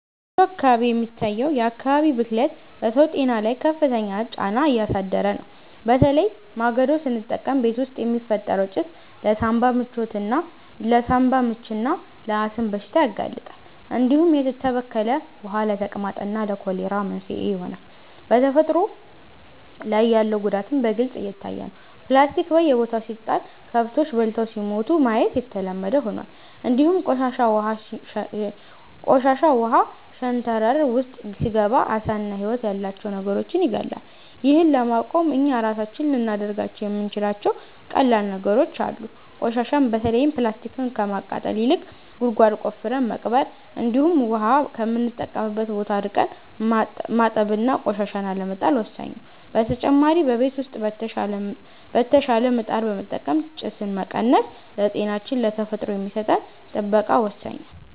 በወሎ አካባቢ የሚታየው የአካባቢ ብክለት በሰው ጤና ላይ ከፍተኛ ጫና እያሳደረ ነው፤ በተለይ ማገዶ ስንጠቀም ቤት ውስጥ የሚፈጠረው ጭስ ለሳንባ ምችና ለአስም በሽታ ያጋልጣል፣ እንዲሁም የተበከለ ውሃ ለተቅማጥና ለኮሌራ መንስኤ ይሆናል። በተፈጥሮ ላይ ያለው ጉዳትም በግልጽ እየታየ ነው፤ ፕላስቲክ በየቦታው ሲጣል ከብቶች በልተው ሲሞቱ ማየት የተለመደ ሆኗል፣ እንዲሁም ቆሻሻ ውሃ ሸንተረር ውስጥ ሲገባ ዓሳና ህይወት ያላቸው ነገሮችን ይገድላል። ይህን ለማቆም እኛ ራሳችን ልናደርጋቸው የምንችላቸው ቀላል ነገሮች አሉ፤ ቆሻሻን በተለይም ፕላስቲክን ከማቃጠል ይልቅ ጉድጓድ ቆፍረን መቅበር፣ እንዲሁም ውሃ ከምንጠቀምበት ቦታ ርቀን ማጠብና ቆሻሻን አለመጣል ወሳኝ ነው። በተጨማሪ በቤት ውስጥ የተሻሻለ ምጣድ በመጠቀም ጭስን መቀነስ ለጤናችንና ለተፈጥሮ የሚሰጠን ጥበቃ ወሳኝ ነው።